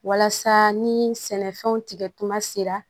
Walasa ni sɛnɛfɛnw tigɛtuma sera